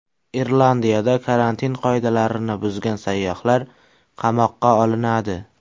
Irlandiyada karantin qoidalarini buzgan sayyohlar qamoqqa olinadi.